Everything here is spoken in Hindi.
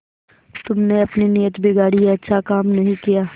तुमने अपनी नीयत बिगाड़ी यह अच्छा काम नहीं किया